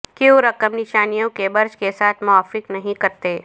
کیوں رقم نشانیوں کے برج کے ساتھ موافق نہیں کرتے